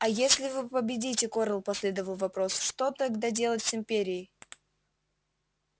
а если вы победите корел последовал вопрос что тогда делать с империей